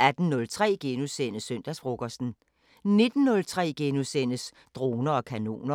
18:03: Søndagsfrokosten * 19:03: Droner og kanoner *